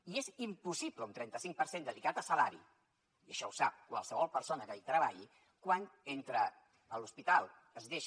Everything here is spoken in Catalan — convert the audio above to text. i és impossible un trenta cinc per cent dedicat a salari i això ho sap qualsevol persona que hi treballi quan a l’hospital es deixa